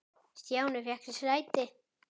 Stjáni fékk sér sæti.